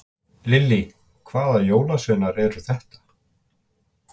Lillý: Hvaða jólasveinar eru þetta?